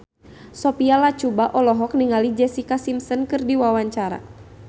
Sophia Latjuba olohok ningali Jessica Simpson keur diwawancara